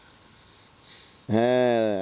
হ্যাঁ